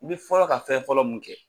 I bɛ fɔlɔ ka fɛn fɔlɔ mun kɛ.